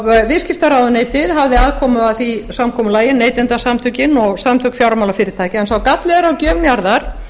og viðskiptaráðuneytið hafði aðkomu að því samkomulagi neytendasamtökin og samtök fjármálafyrirtækja en sá galli er á gjöf njarðar